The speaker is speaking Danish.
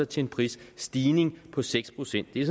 til en prisstigning på seks procent det